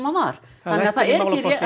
var þannig að það er